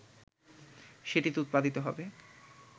সেটিতে উৎপাদিত হবে